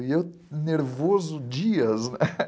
E eu nervoso dias, né?